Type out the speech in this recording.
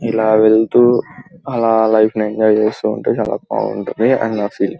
ఇలా వెళ్తూ అలా లైఫ్ ని ఎంజాయ్ చేస్తూ ఉంటే బాగుంటుందని నా ఫీలింగ్ .